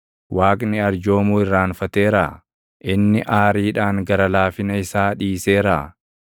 Waaqni arjoomuu irraanfateeraa? Inni aariidhaan gara laafina isaa dhiiseeraa?”